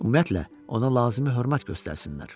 Ümumiyyətlə, ona lazımi hörmət göstərsinlər.